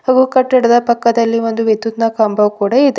ಹಾಗೂ ಕಟ್ಟಡದ ಪಕ್ಕದಲ್ಲಿ ಒಂದು ವಿದ್ಯುತ್ ನ ಕಂಬವು ಕೂಡ ಇದೆ.